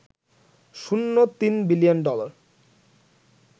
শূন্য ৩ billion dollar